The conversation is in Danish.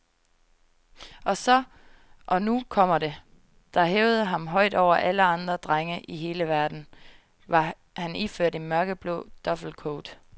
Og så, og nu kommer det, der hævede ham højt over alle andre drenge i hele verden, var han iført en mørkeblå duffelcoat.